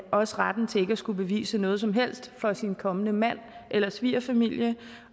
også retten til ikke at skulle bevise noget som helst for sin kommende mand eller svigerfamilie